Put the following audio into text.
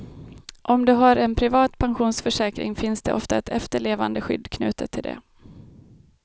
Om du har en privat pensionsförsäkring finns det ofta ett efterlevandeskydd knutet till det.